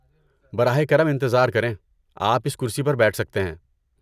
براہ کرم انتظار کریں۔ آپ اس کرسی پر بیٹھ سکتے ہیں۔